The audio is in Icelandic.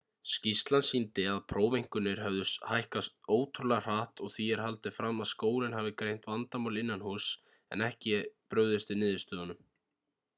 skýrslan sýndi að prófeinkunnir höfðu hækkað ótrúlega hratt og því er haldið fram að skólinn hafi greint vandamál innanhúss en ekki brugðist við niðurstöðunum